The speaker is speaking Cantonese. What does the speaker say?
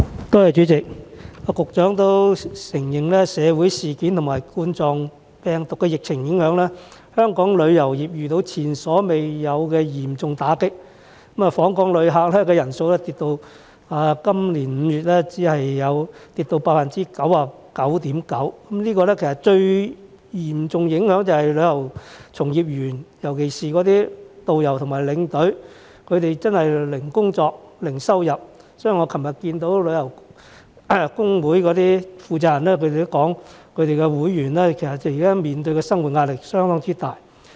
代理主席，局長也承認社會事件和2019冠狀病毒病的疫情影響，香港旅遊業受到前所未有的嚴重打擊，今年5月訪港旅客人次按年大跌 99.9%， 這嚴重影響旅遊從業員，尤其是導遊和領隊真的是零工作、零收入，所以我昨天與旅遊工會的負責人會面時，他們表示工會會員現時面對的生活壓力相當大。